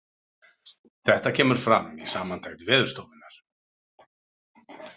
Þetta kemur fram í samantekt Veðurstofunnar